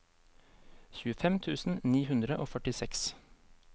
tjuefem tusen ni hundre og førtiseks